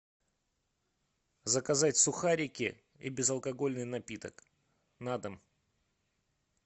заказать сухарики и безалкогольный напиток на дом